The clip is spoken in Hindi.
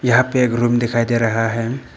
यहां पे एक रूम दिखाई दे रहा है।